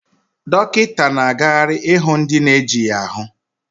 Dọkịta na-agagharị ịhụ ndị na-ejighị ahu